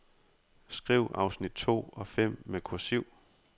Skriv afsnit to og fem med kursiv.